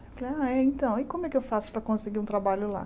Falei, ah, é então, e como é que eu faço para conseguir um trabalho lá?